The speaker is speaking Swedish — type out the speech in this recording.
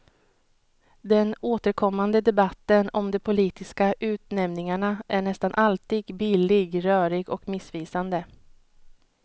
Den återkommande debatten om de politiska utnämningarna är nästan alltid billig, rörig och missvisande.